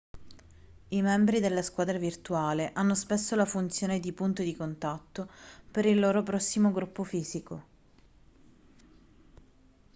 i membri della squadra virtuale hanno spesso la funzione di punto di contatto per il loro prossimo gruppo fisico